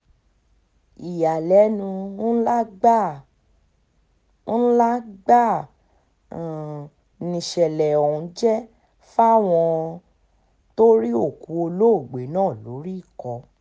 ìyàlẹ́nu ńlá gbáà ńlá gbáà um nìṣẹ̀lẹ̀ ọ̀hún jẹ́ fáwọn um tó rí òkú olóògbé náà lórí ikọ̀